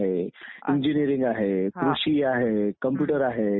त्यामुळे लोकशाहीला एक प्रकारे काळीमा फासली जाते.